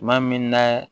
Tuma min na